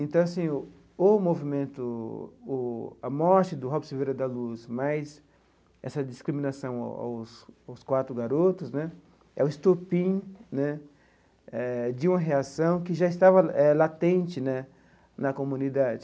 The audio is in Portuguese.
Então assim, o movimento, o a morte do Robson Silveira da Luz, mais essa discriminação aos aos quatro garotos né, é o estopim né eh de uma reação que já estava latente né na comunidade.